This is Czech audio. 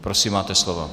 Prosím, máte slovo.